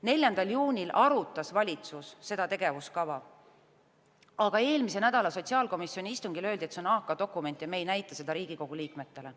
4. juunil arutas valitsus seda tegevuskava, aga eelmise nädala sotsiaalkomisjoni istungil öeldi, et see on AK-dokument ja seda ei näidata Riigikogu liikmetele.